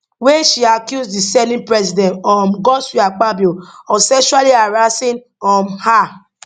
wia she accuse di senate president um godswill akpabio of sexually harassing um her